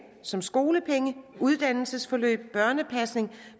som skolepenge uddannelsesforløb børnepasning